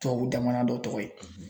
Tubabu damana dɔ tɔgɔ ye